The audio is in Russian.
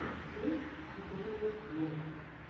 трек федорива влог